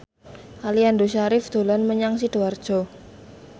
Aliando Syarif dolan menyang Sidoarjo